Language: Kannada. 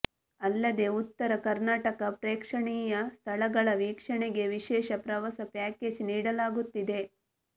ಅಲ್ಲದೇ ಉತ್ತರ ಕರ್ನಾಟಕ ಪ್ರೇಕ್ಷಣೀಯ ಸ್ಥಳಗಳ ವೀಕ್ಷಣೆಗೆ ವಿಶೇಷ ಪ್ರವಾಸ ಪ್ಯಾಕೇಜ್ ನೀಡಲಾಗುತ್ತಿದೆ